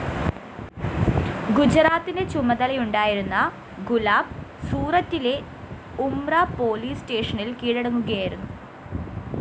ഗുജറാത്തിന്റെ ചുമതലയുണ്ടായിരുന്ന ഗുലാബ് സൂററ്റിലെ ഉംമ്ര പോലീസ് സ്റ്റേഷനില്‍ കീഴടങ്ങുകയായിരുന്നു